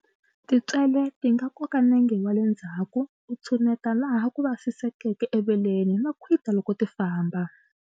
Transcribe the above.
Tintswele ti nga koka nenge wa le ndzhawu u tshuneta laha ku vasisekeke eveleni, no khwita loko ti famba.